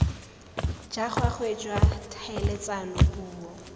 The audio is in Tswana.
jwa gagwe jwa tlhaeletsano puo